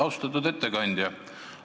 Austatud ettekandja!